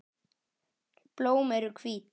Blóm eru hvít.